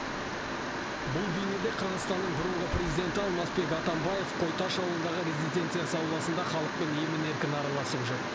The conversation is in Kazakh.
бұл бейнеде қырғызстанның бұрынғы президенті алмазбек атамбаев қойташ ауылындағы резиденциясы ауласында халықпен емін еркін араласып жүр